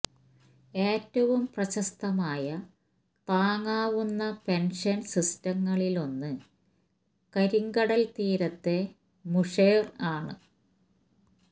ഏറ്റവും പ്രശസ്തമായ താങ്ങാവുന്ന പെൻഷൻ സിസ്റ്റങ്ങളിൽ ഒന്ന് കരിങ്കടൽ തീരത്തെ മുഷെര് ആണ്